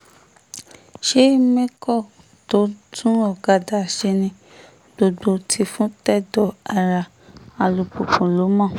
ṣe mẹ́kọ́ tó ń tún ọ̀kadà ṣe ní gbogbo tìfun-tẹ̀dọ̀ ará alùpùpù ló mọ̀